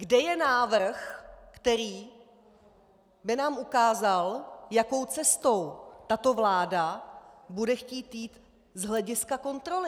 Kde je návrh, který by nám ukázal, jakou cestou tato vláda bude chtít jít z hlediska kontroly?